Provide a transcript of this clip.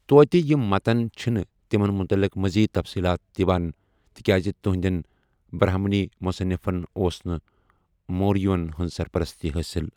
توتہِ، یِم متن چھِنہٕ تِمَن متعلق مزیٖد تفصیلات دِوان، تِکیازِ تہنٛدٮ۪ن برہمنی مصنِفن اوس نہٕ موریون ہنٛز سرپرستی حٲصِل۔